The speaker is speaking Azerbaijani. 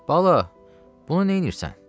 Bala, bunu neynirsən?